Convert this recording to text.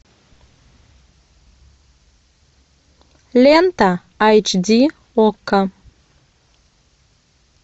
лента айч ди окко